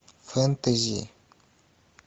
фэнтези